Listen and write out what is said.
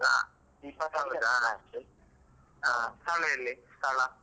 ಹ , ಸ್ಥಳ ಎಲ್ಲಿ ಸ್ಥಳ?